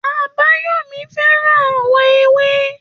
Àbáyọ̀mí fẹ́ràn àwọ̀ ewé